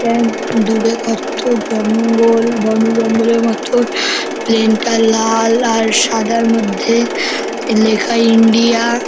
কেন দূরে কত জঙ্গল বন জঙ্গলের মত প্লেনটা লাল আর সাদা মধ্যে লেখা ইন্ডিয়া ।